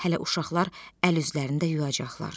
Hələ uşaqlar əl-üzlərini də yuyacaqlar.